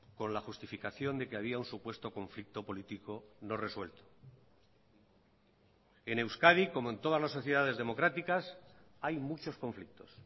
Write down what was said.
con la justificación de que había un supuesto conflicto político no resuelto en euskadi como en todas las sociedades democráticas hay muchos conflictos